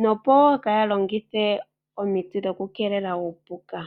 oshowo oku keelela uupuka.